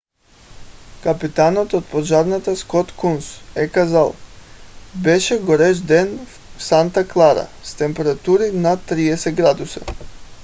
капитанът от пожарната скот кунс е казал: беше горещ ден в санта клара с температури над 30 градуса